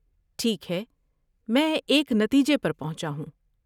ٹھیک ہے، میں ایک نتیجے پر پہنچا ہوں۔